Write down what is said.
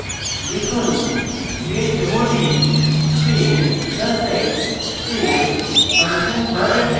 লিখুন: chmod space plus x space function dot sh